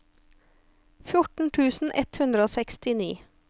fjorten tusen ett hundre og sekstini